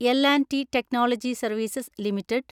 L‍ and T technology services limited